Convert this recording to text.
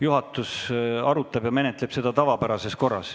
Juhatus arutab ja menetleb seda tavapärases korras.